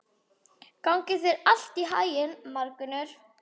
Gangi þér allt í haginn, Margunnur.